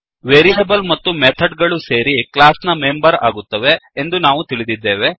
variable ಮತ್ತು method ಗಳು ಸೇರಿ ಕ್ಲಾಸ್ ನ ಮೆಂಬರ್ ಆಗುತ್ತವೆ ಎಂದು ನಾವು ತಿಳಿದಿದ್ದೇವೆ